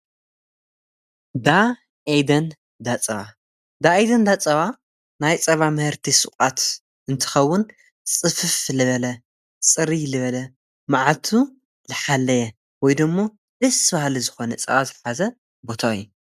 ዳ ኤደን ዳጸባ ብኤደን ዳጸባ ናይ ጸባ መህርቲይ ሱቓት እንትኸውን ጽፍፍ ልበለ ጽሪይ ልበለ መዓልቱ ልሓለየ ወይ ደሞ ደስ ብሃሊ ዝኾነ ጸባ ዝሓዘ ቦታይ እዩ።